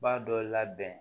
B'a dɔ labɛn